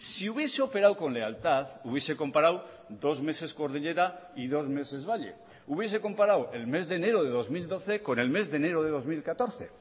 si hubiese operado con lealtad hubiese comparado dos meses cordillera y dos meses valle hubiese comparado el mes de enero de dos mil doce con el mes de enero de dos mil catorce